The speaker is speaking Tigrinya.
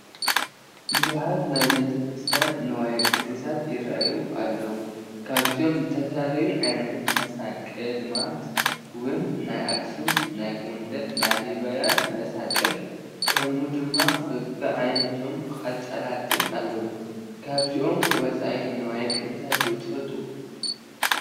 ብዙሓት ናይ ቤተ ክርስትያን ንዋያ ቅድሳት ይራኣዩ ኣለው፡፡ ካብዚኣቶም ዝተፈላለዩ ዓይነታት መሳቕልማለት ውን ናይ ኣክሱም፣ ናይ ጎንደርን ላሊበላን መሳቕል ከምኡ ድማ በቢዓይነቶም ቃጭላትን ኣለው፡፡ ካብዚኦም ወፃኢ ንዋየ ቅድሳት ዶ ትፈልጡ?